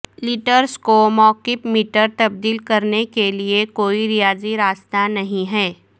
letters کو مکعب metre تبدیل کرنے کے لئے کوئی ریاضی راستہ نہیں ہے